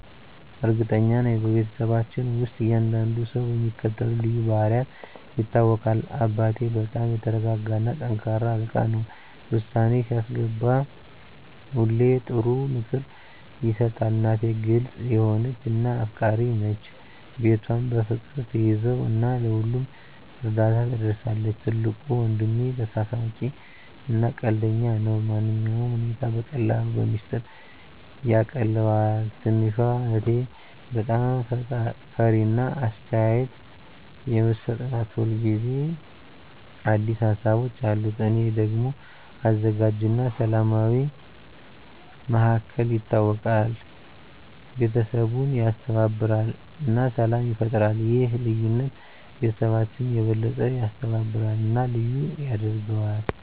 እርግጠኛ ነኝ፤ በቤተሰባችን ውስጥ እያንዳንዱ ሰው በሚከተሉት ልዩ ባህሪያት ይታወቃል - አባቴ በጣም የተረጋ እና ጠንካራ አለቃ ነው። ውሳኔ ሲያስገባ ሁሌ ጥሩ ምክር ይሰጣል። እናቴ ግልጽ የሆነች እና አፍቃሪች ናት። ቤቷን በፍቅር ትያዘው እና ለሁሉም እርዳታ ትደርሳለች። ትልቁ ወንድሜ ተሳሳቂ እና ቀልደኛ ነው። ማንኛውንም ሁኔታ በቀላሉ በሚስጥር ያቃልለዋል። ትንሹ እህቴ በጣም ፈጣሪ እና አስተያየት የምትሰጥ ናት። ሁል ጊዜ አዲስ ሀሳቦች አሉት። እኔ ደግሞ አዘጋጅ እና ሰላማዊ እንደ መሃከል ይታወቃለሁ። ቤተሰቡን ያስተባብራል እና ሰላም ይፈጥራል። ይህ ልዩነት ቤተሰባችንን የበለጠ ያስተባብራል እና ልዩ ያደርገዋል።